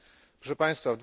Proszę Państwa!